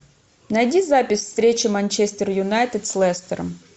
найди запись встречи манчестер юнайтед с лестером